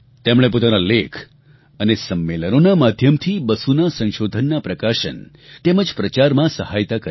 તેમણે પોતાના લેખ અને સંમેલનોના માધ્યમથી બસુનાં સંશોધનનાં પ્રકાશન તેમજ પ્રચારમાં સહાયતા કરી